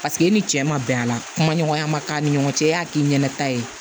Paseke e ni cɛ ma bɛn a la kuma ɲɔgɔnya ma k'a ni ɲɔgɔn cɛ e y'a k'i ɲɛnata ye